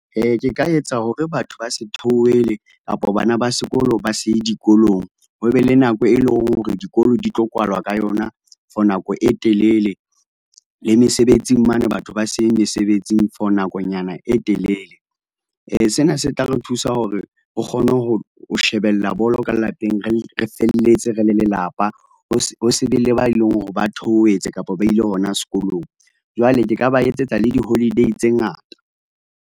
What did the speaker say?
Ke ka etsa hore batho ba se theohele kapo bana ba sekolo ba se ye dikolong. Ho be le nako e leng hore dikolo di tlo kwalwa ka yona for nako e telele, le mesebetsing mane batho ba se ye mesebetsing for nakonyana e telele. Sena se tla re thusa hore, o kgone ho, ho shebella bolo ka lapeng, re re felletse re le lelapa. Ho se, ho se be le ba e leng hore ba theohetse kapo ba ile hona sekolong. Jwale ke ka ba etsetsa le di-holiday tse ngata.